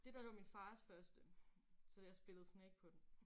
Det dér det var min fars første så jeg spillede Snake på den